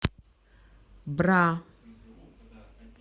бра